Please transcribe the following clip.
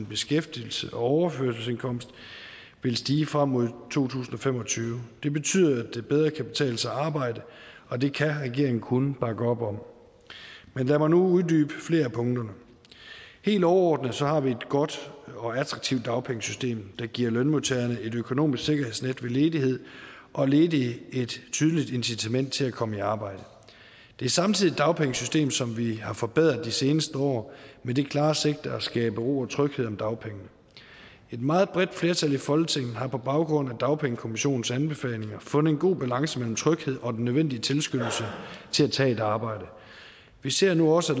beskæftigelse og overførselsindkomst vil stige frem mod to tusind og fem og tyve det betyder at det bedre kan betale sig at arbejde og det kan regeringen kun bakke op om men lad mig nu uddybe flere af punkterne helt overordnet har vi et godt og attraktivt dagpengesystem der giver lønmodtagerne et økonomisk sikkerhedsnet ved ledighed og ledige et tydeligt incitament til at komme i arbejde det er samtidig et dagpengesystem som vi har forbedret i de seneste år med det klare sigte at skabe ro og tryghed om dagpengene et meget bredt flertal i folketinget har på baggrund af dagpengekommissionens anbefalinger fundet en god balance mellem tryghed og den nødvendige tilskyndelse til at tage et arbejde vi ser nu også